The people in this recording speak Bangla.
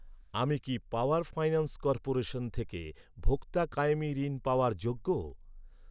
আমি কি পাওয়ার ফাইন্যান্স কর্পোরেশন থেকে ভোক্তা কায়েমী ঋণ পাওয়ার যোগ্য?